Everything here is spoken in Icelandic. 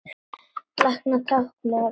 Læra táknmál